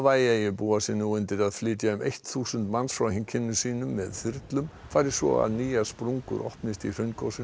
Hawaii eyju búa sig nú undir að flytja um eitt þúsund manns frá heimkynnum sínum með þyrlum fari svo að nýjar sprungur opnist í hraungosinu